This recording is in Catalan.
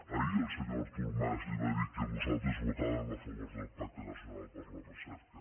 ahir el senyor artur mas li va dir que nosaltres votàvem a favor del pacte nacional per la recerca